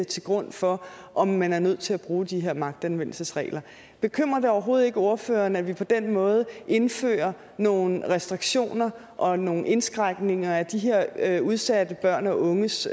til grund for om man er nødt til at bruge de her magtanvendelsesregler bekymrer det overhovedet ikke ordføreren at vi på den måde indfører nogle restriktioner og nogle indskrænkninger af de her udsatte børn og unges